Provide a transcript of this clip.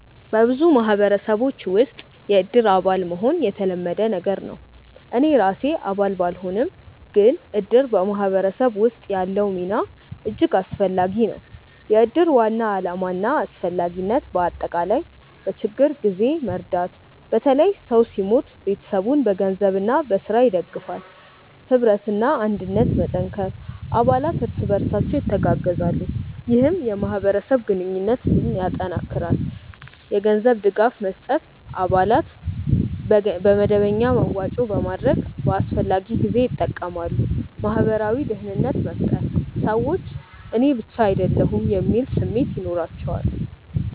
በብዙ ማህበረሰቦች ውስጥ “የእድር አባል” መሆን የተለመደ ነገር ነው። እኔ ራሴ አባል ባልሆንም፣ ግን እድር በማህበረሰብ ውስጥ ያለው ሚና እጅግ አስፈላጊ ነው። የእድር ዋና ዓላማና አስፈላጊነት በአጠቃላይ፦ በችግኝ ጊዜ መርዳት – በተለይ ሰው ሲሞት ቤተሰቡን በገንዘብና በሥራ ይደግፋል። ኅብረትና አንድነት መጠንከር – አባላት እርስ በርሳቸው ይተጋገዛሉ፣ ይህም የማህበረሰብ ግንኙነትን ያጠናክራል። የገንዘብ ድጋፍ መስጠት – አባላት በመደበኛ መዋጮ በማድረግ በአስፈላጊ ጊዜ ይጠቀማሉ። ማህበራዊ ደህንነት መፍጠር – ሰዎች “እኔ ብቻ አይደለሁም” የሚል ስሜት ይኖራቸዋል